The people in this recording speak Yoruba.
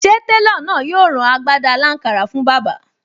Ṣé télọ̀ náà yóò rán agbádá aláǹkárá fún bàbá?